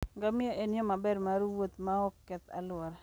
Ngamia en yo maber mar wuoth maok keth alwora.